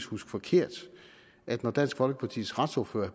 huske forkert at når dansk folkepartis retsordfører